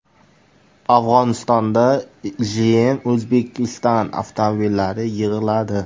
Afg‘onistonda GM Uzbekistan avtomobillari yig‘iladi.